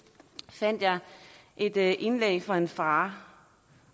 fandt jeg et indlæg fra en far